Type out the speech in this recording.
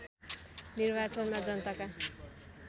निर्वाचनमा जनताका